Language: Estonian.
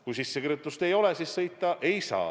Kui sissekirjutust ei ole, siis sõita ei saa.